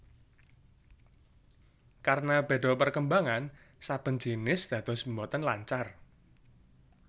Karena béda perkembangan saben jinis dados boten lancar